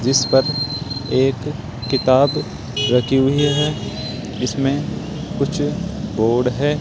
जिस पर एक किताब रखी हुई है जिसमें कुछ बोर्ड है।